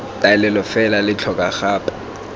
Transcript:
taolelo fela lo tlhoka gape